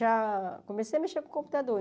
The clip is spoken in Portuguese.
Para comecei a mexer com o computador.